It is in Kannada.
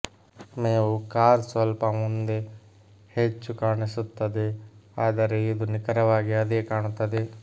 ಮೇವು ಕಾರ್ ಸ್ವಲ್ಪ ಮುಂದೆ ಮುಂದೆ ಹೆಚ್ಚು ಕಾಣಿಸುತ್ತದೆ ಆದರೆ ಇದು ನಿಖರವಾಗಿ ಅದೇ ಕಾಣುತ್ತದೆ